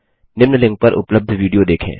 निम्न लिंक पर उपलब्ध विडियो देखें